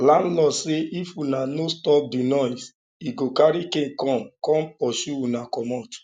landlord say if una no stop the noise he go carry cane come come pursue una comot